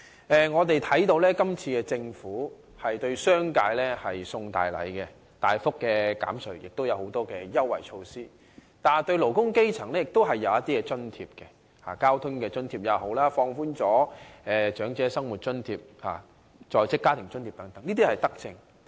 政府今次向商界送大禮，大幅減稅並提出很多優惠措施；對勞工基層亦設有一些津貼，包括交通津貼及在職家庭津貼，並放寬了長者生活津貼的資產限額，這些都是德政。